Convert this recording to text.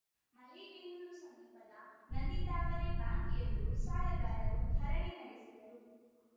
ಮಲೇಬೆನ್ನೂರು ಸಮೀಪದ ನಂದಿತಾವರೆ ಬ್ಯಾಂಕ್‌ ಎದುರು ಸಾಲಗಾರರು ಧರಣಿ ನಡೆಸಿದರು